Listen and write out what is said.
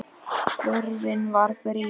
Þörfin var brýn.